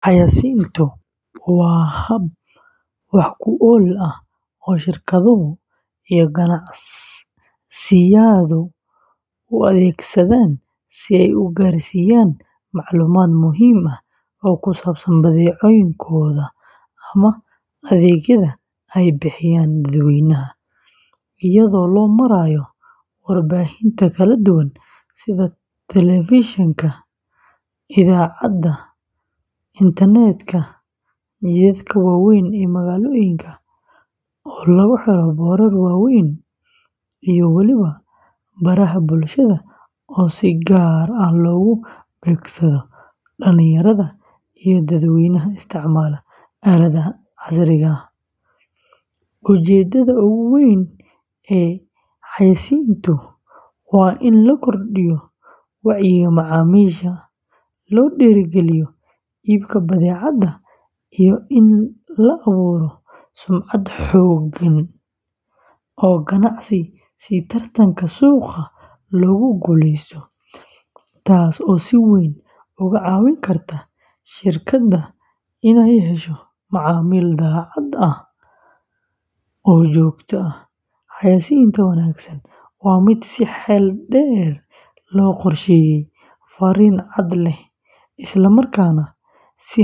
Xayaysiintu waa hab wax ku ool ah oo shirkaduhu iyo ganacsiyadu u adeegsadaan si ay u gaarsiiyaan macluumaad muhiim ah oo ku saabsan badeecooyinkooda ama adeegyada ay bixiyaan dadweynaha, iyadoo loo marayo warbaahinta kala duwan sida telefishinka, idaacadda, internetka, jidadka waaweyn ee magaalooyinka oo lagu xiro boorar waaweyn, iyo weliba baraha bulshada oo si gaar ah loogu beegsado dhallinyarada iyo dadweynaha isticmaala aaladaha casriga ah; ujeedada ugu weyn ee xayaysiintu waa in la kordhiyo wacyiga macaamiisha, loo dhiirrigeliyo iibka badeecada, iyo in la abuuro sumcad xooggan oo ganacsi si tartanka suuqa loogu guuleysto, taasoo si weyn uga caawin karta shirkadda inay hesho macaamiil daacad ah oo joogto ah; xayaysiinta wanaagsan waa mid si xeel dheer loo qorsheeyay, farriin cad leh, isla markaana si hal-abuur leh u soo jiidata dareenka.